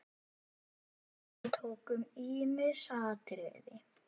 Við tókum ýmis atriði.